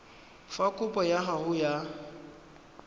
fa kopo ya gago ya